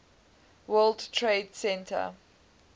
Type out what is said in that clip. world trade center